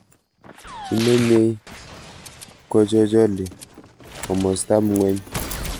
Kimenyei kochochole komostab ngweny